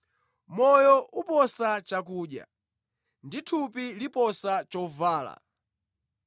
Moyo uposa chakudya, ndi thupi liposa chovala.